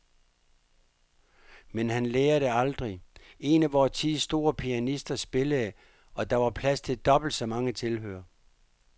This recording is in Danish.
Men han lærer det aldrig. En af vor tids store pianister spillede, og der var plads til dobbelt så mange tilhørere.